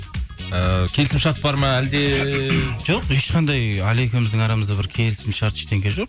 ііі келісім шарт бар ма әлде жоқ ешқандай әлия екеуіміздің арамызда бір келісім шарт ештеңе жоқ